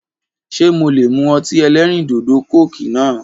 Ṣe mo lè mú ọtí ẹlẹ́rìndòdò "Coke" náà